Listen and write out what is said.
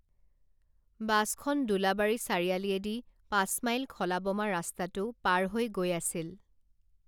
বাছখন দোলাবাৰী চাৰিআলিয়েদি পাচঁমাইল খলা বমা ৰাস্তাটো পাৰ হৈ গৈ আছিল